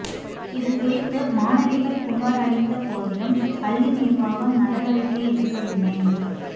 இதுகுறித்து மாணவிகள் புகார் அளித்த போதிலும் பள்ளி நிர்வாகம் நடவடிக்கை எடுக்கவில்லை